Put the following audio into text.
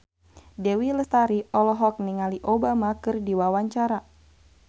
Dewi Lestari olohok ningali Obama keur diwawancara